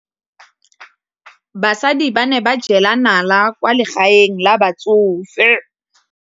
Basadi ba ne ba jela nala kwaa legaeng la batsofe.